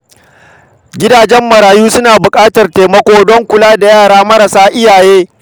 Gidajen marayu suna buƙatar taimako don kula da yara marasa iyaye.